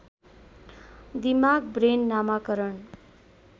दिमाग ब्रेन नामाकरण